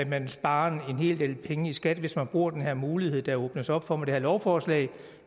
man sparer en hel del penge i skat hvis man bruger den her mulighed der åbnes op for med det her lovforslag